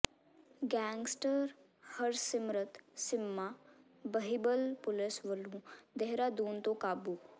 gangster Harsimrat Simma Behbal police ਵਲੋਂ ਦੇਹਰਾਦੂਨ ਤੋਂ ਕਾਬੂ